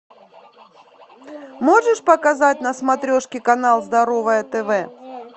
можешь показать на смотрешке канал здоровое тв